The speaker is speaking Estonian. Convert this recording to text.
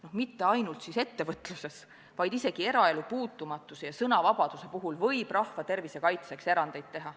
Ja mitte ainult ettevõtluses, vaid isegi eraelu puutumatuse ja sõnavabaduse vallas võib rahva tervise kaitseks erandeid teha.